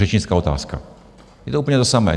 Řečnická otázka, je to úplně to samé.